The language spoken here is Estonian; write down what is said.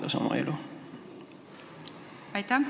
Aitäh!